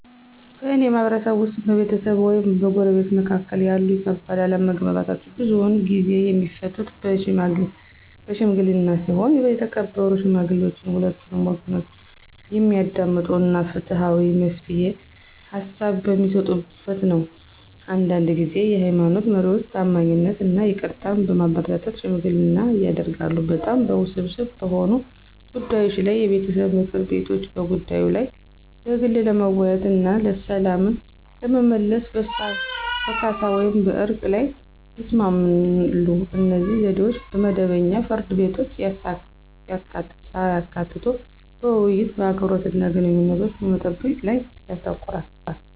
በእኔ ማህበረሰብ ውስጥ፣ በቤተሰብ ወይም በጎረቤቶች መካከል ያሉ ከባድ አለመግባባቶች ብዙውን ጊዜ የሚፈቱት በሺምግሊና ሲሆን የተከበሩ ሽማግሌዎች ሁለቱንም ወገኖች የሚያዳምጡ እና ፍትሃዊ የመፍትሄ ሃሳብ በሚሰጡበት ነው። አንዳንድ ጊዜ የሃይማኖት መሪዎች ታማኝነትን እና ይቅርታን በማበረታታት ሽምግልና ያደርጋሉ። በጣም ውስብስብ በሆኑ ጉዳዮች ላይ የቤተሰብ ምክር ቤቶች በጉዳዩ ላይ በግል ለመወያየት እና ሰላምን ለመመለስ በካሳ ወይም በዕርቅ ላይ ይስማማሉ. እነዚህ ዘዴዎች መደበኛ ፍርድ ቤቶችን ሳያካትቱ በውይይት፣ በአክብሮት እና ግንኙነቶችን በመጠበቅ ላይ ያተኩራሉ።